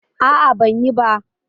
A'a, ban yi ba